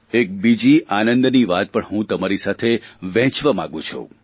એક બીજી આનંદની વાત પણ હું તમારી સાથે વહેંચવા માગું છું